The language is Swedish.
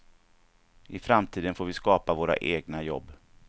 I framtiden får vi skapa våra egna jobb.